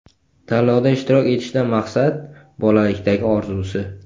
Tanlovda ishtirok etishdan maqsad: bolalikdagi orzusi.